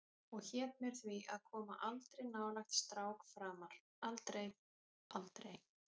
Og hét mér því að koma aldrei nálægt strák framar, aldrei, aldrei.